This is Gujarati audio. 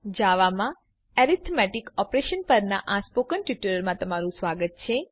જાવા માં એરિથમેટિક ઓપરેશન પરના આ ટ્યુટોરીયલમાં સ્વાગત છે